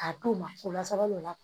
K'a d'u ma o la sali bɛ na